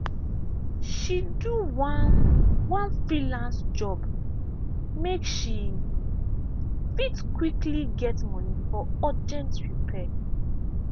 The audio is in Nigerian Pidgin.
she do one one freelance job make she fit quickly get money for urgent repair.